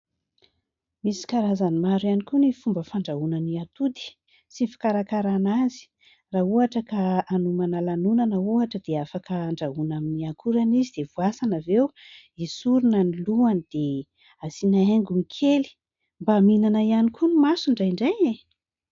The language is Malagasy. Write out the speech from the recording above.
Misy karazany maro ihany koa ny fomba fandrahoana ny atody sy ny fikarakarana azy. Raha ohatra ka hanomana lanonana ohatra dia afaka handrahoana amin'ny akorany izy dia voasana avy eo, esorina ny lohany dia asiana haingony kely mba mihinana ihany koa no maso indraindray.